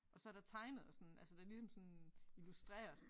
Og så der tegnet og sådan altså det ligesom sådan illustreret